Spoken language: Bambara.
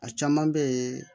A caman bɛ ye